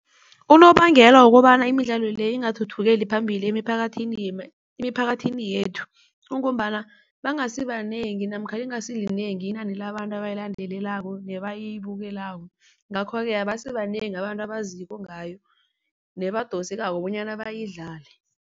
Unobangela wokobana imidlalo le ingathuthukeli phambili emiphakathini yethu, kungombana bangasibanengi namkha lingasilinengi inani labantu abayilandelelako nebayibukelako. Ngakho-ke abasibanengi abantu abaziko ngayo nebadosekako bonyana bayidlale.